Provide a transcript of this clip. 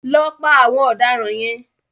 Lọ pa àwọn ọ̀daràn yẹn.